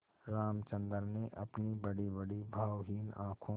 रामचंद्र ने अपनी बड़ीबड़ी भावहीन आँखों